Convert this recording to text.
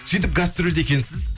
сөйтіп гастрольде екенсіз